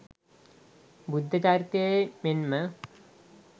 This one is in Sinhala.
බුද්ධචරිතයේ මෙන්ම